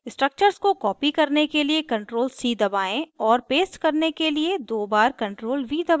structures को copy करने के लिए ctrl + c दबाएं और paste करने के लिए दो बार ctrl + v दबाएं